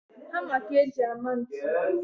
Hama ka e ji ama ntu